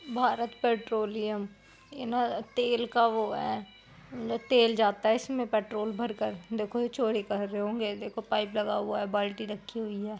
Bharat Petroleum इने तेल का वो है इसमें का तेल जाता है इसमें पेट्रोल भर कर देखो ये चोरी कर रहे होंगे देखो पाईप लगा हुआ है बाल्टी रक्खी हुई है।